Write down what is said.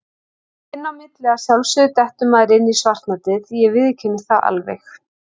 Inn á milli að sjálfsögðu dettur maður inn í svartnættið, ég viðurkenni það alveg.